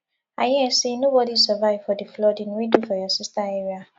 i hear say nobody survive for the flooding wey do for your sister area